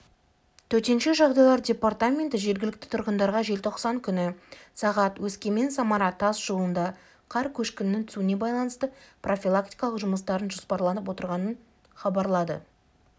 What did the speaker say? төтенше жағдайлар департаменті жергілікті тұрғындарға желтоқсан күні сағ өскемен-самара тас жолында қар көшкінінің түсуіне байланысты профилактикалық жұмыстардың жоспарланып отырғандығын хабарлады